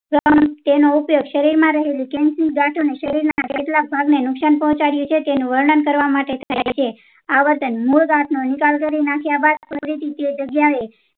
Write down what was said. તેનો ઉપયોગ શરીર માં રહેલી cancer ની ગાઠોં ને શરીર ના કેટલાંબ ભાગ ને નુકશાન પોંહચાડીયે છે તેનું વર્ણન કરવા માટે થાય છે આ વર્તન મૂળ ગાંઠ નો નિકાલ કરી નાખ્યા બાદ ફરી તે જગ્યા એ